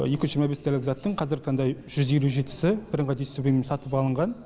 екі жүз жиырма бес дәрілік заттың қазіргі таңда жүз елу жетісі бірыңғай дистрибьютормен сатылып алынған